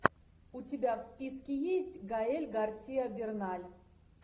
у тебя в списке есть гаэль гарсиа берналь